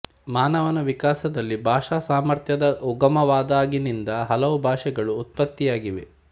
ಮಾನವನ ವಿಕಾಸದಲ್ಲಿ ಭಾಷಾ ಸಾಮರ್ಥ್ಯದ ಉಗಮವಾದಾಗಿನಿಂದ ಹಲವು ಭಾಷೆಗಳು ಉತ್ಪತ್ತಿಯಾಗಿವೆ